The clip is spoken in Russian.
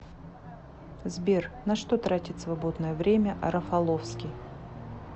сбер на что тратит свободное время рафаловский